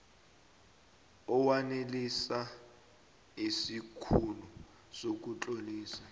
owanelisa isikhulu sokutlolisa